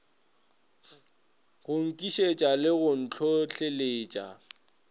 go nkišetša le go ntlhohleletša